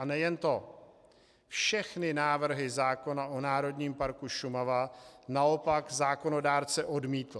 A nejen to, všechny návrhy zákona o Národním parku Šumava naopak zákonodárce odmítl.